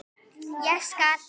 Ég skal!